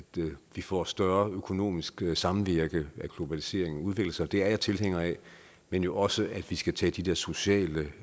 vi får større økonomisk samvirke og at globaliseringen udvikler sig det er jeg tilhænger af men jo også at vi skal tage de der sociale